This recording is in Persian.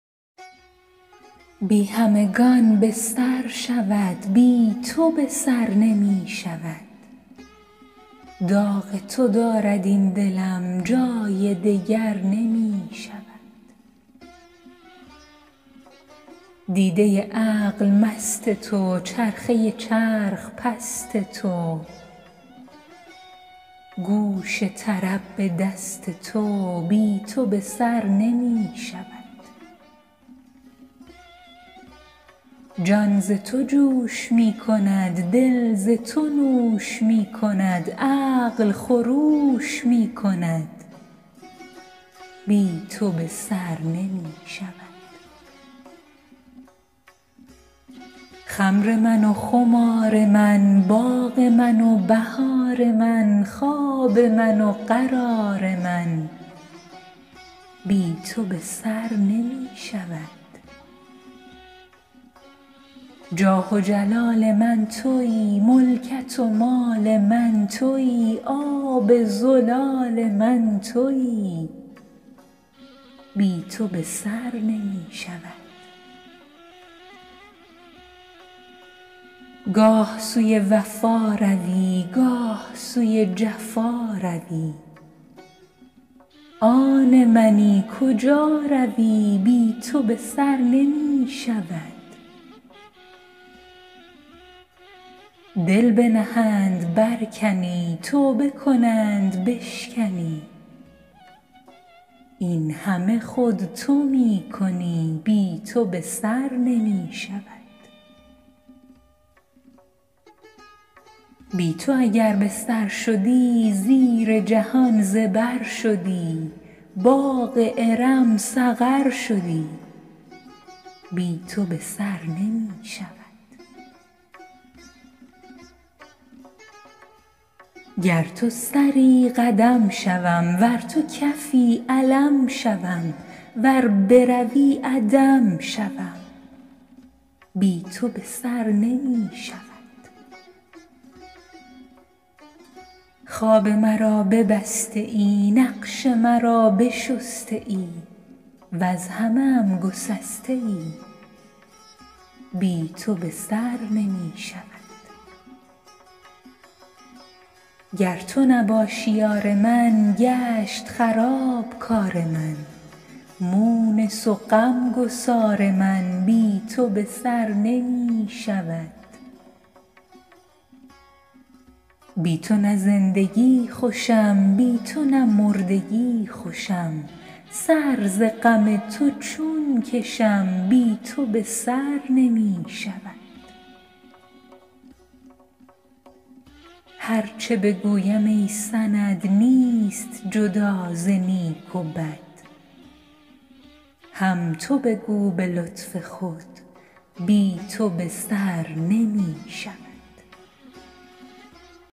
بی همگان به سر شود بی تو به سر نمی شود داغ تو دارد این دلم جای دگر نمی شود دیده عقل مست تو چرخه چرخ پست تو گوش طرب به دست تو بی تو به سر نمی شود جان ز تو جوش می کند دل ز تو نوش می کند عقل خروش می کند بی تو به سر نمی شود خمر من و خمار من باغ من و بهار من خواب من و قرار من بی تو به سر نمی شود جاه و جلال من تویی ملکت و مال من تویی آب زلال من تویی بی تو به سر نمی شود گاه سوی وفا روی گاه سوی جفا روی آن منی کجا روی بی تو به سر نمی شود دل بنهند برکنی توبه کنند بشکنی این همه خود تو می کنی بی تو به سر نمی شود بی تو اگر به سر شدی زیر جهان زبر شدی باغ ارم سقر شدی بی تو به سر نمی شود گر تو سری قدم شوم ور تو کفی علم شوم ور بروی عدم شوم بی تو به سر نمی شود خواب مرا ببسته ای نقش مرا بشسته ای وز همه ام گسسته ای بی تو به سر نمی شود گر تو نباشی یار من گشت خراب کار من مونس و غم گسار من بی تو به سر نمی شود بی تو نه زندگی خوشم بی تو نه مردگی خوشم سر ز غم تو چون کشم بی تو به سر نمی شود هر چه بگویم ای سند نیست جدا ز نیک و بد هم تو بگو به لطف خود بی تو به سر نمی شود